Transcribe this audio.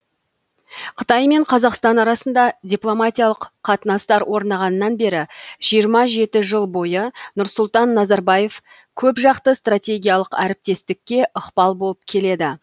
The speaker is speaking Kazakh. қытай мен қазақстан арасында дипломатиялық қатынастар орнағаннан бері жиырма жеті жыл бойы нұрсұлтан назарбаев көп жақты стратегиялық әріптестікке ықпал болып келеді